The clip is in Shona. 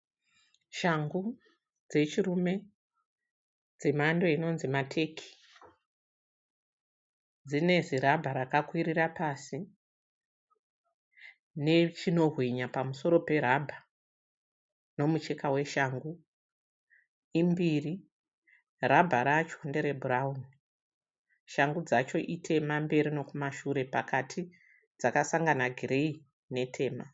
Shangu dzechirume dzemhanho inonzi mateki. Dzine zirabha rakakwirira pasi nechinohwinya pamusoro perabha nomucheka weshangu. Imbiri, rabha racho nderebhurauni. Shangu dzacho itema mberi nokumashure pakati dzakasangana gireyi netema.